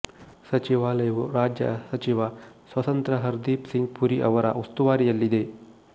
ಸಚಿವಾಲಯವು ರಾಜ್ಯ ಸಚಿವ ಸ್ವತಂತ್ರ ಹರ್ದೀಪ್ ಸಿಂಗ್ ಪುರಿ ಅವರ ಉಸ್ತುವಾರಿಯಲ್ಲಿದೆ